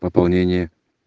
пополнение